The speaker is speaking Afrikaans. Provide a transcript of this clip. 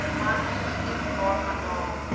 man geskiet waarvandaan